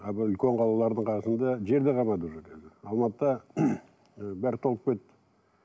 а былай үлкен қалалардың қасында жер де қалмады уже қазір алматыда ы бәрі толып кетті